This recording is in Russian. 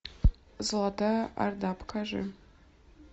золотая орда покажи